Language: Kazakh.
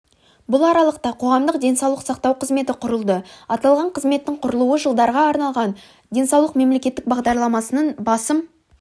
бұл аралықта қоғамдық денсаулық сақтау қызметі құрылды аталған қызметтің құрылуы жылдарға арналған денсаулық мемлекеттік бағдарламасының басым